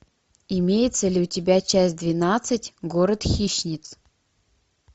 имеется ли у тебя часть двенадцать город хищниц